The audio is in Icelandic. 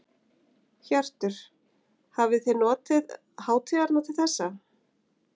Hjörtur: Hafið þið notið hátíðarinnar til þessa?